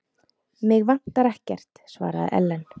Mig vantar ekkert, svaraði Ellen.